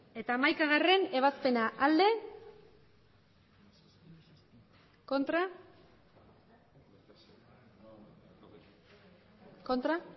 eta hamaikagarrena ebazpena emandako botoak hirurogeita